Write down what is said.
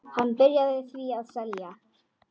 Hann byrjaði því að selja.